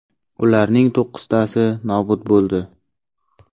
Ularning to‘qqiztasi nobud bo‘ldi.